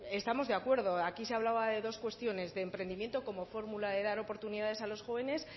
estamos de acuerdo aquí se hablaba de dos cuestiones de emprendimiento como fórmula de dar oportunidades a los jóvenes